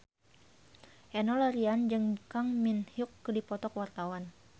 Enno Lerian jeung Kang Min Hyuk keur dipoto ku wartawan